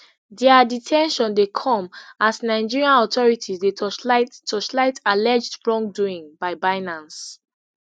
dia de ten tion dey come as nigerian authorities dey torchlight torchlight alleged wrongdoing by binance